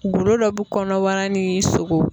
Golo dɔ bɛ kɔnɔbara ni sogo